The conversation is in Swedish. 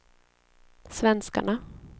svenskarna